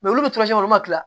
olu bɛ ma